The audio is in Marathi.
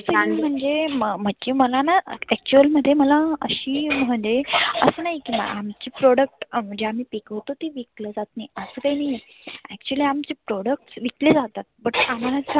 म्हणजे मर्जी मनानं actual मध्ये मला अशी म्हणजे आसं नाही की आमचे product जे आम्ही पिकवतो ते विकल जात असं काही नाहीए. actually आमचे products विकले जातात. but